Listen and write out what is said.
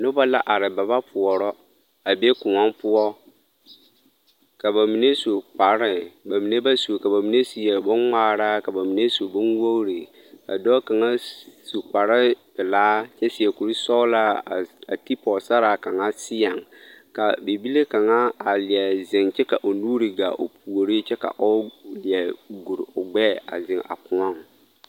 Nobɔ la are ba ba pɔɔrɔ a be kõɔ poɔ ka ba mine su kpare ba mine ba su kpare ka ba mine seɛ bon ngmaara ka ba mine su bon wogre ka dɔɔ kaŋa su kparepelaa kyɛ seɛ kurisɔglaa a a ti pɔɔsaraa kaŋa seɛŋ ka bibile kaŋa are leɛ zeŋ kyɛ ka o nuure gaa o puore kyɛ ka o leɛ guri o gbɛɛ a zeŋ a kõɔŋ.